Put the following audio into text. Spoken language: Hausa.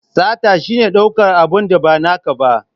Sata shine daukar abin da ba naka ba.